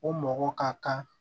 O mɔgɔ ka kan